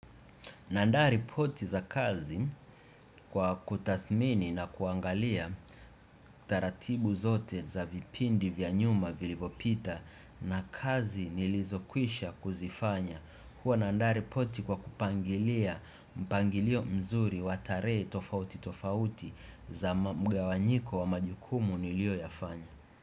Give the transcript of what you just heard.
Naandaa ripoti za kazi kwa kutathmini na kuangalia taratibu zote za vipindi vya nyuma vilivopita na kazi nilizokwisha kuzifanya. Huwa nandaa ripoti kwa kupangilia mpangilio mzuri watarehe tofauti tofauti za mga wanyiko wa majukumu nilio yafanya.